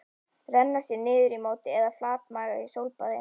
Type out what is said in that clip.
Renna sér niður í móti eða flatmaga í sólbaði?